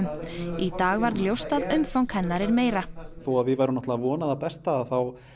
í dag varð ljóst að umfang hennar er meira þótt við værum að vona það besta þá